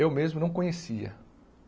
Eu mesmo não conhecia.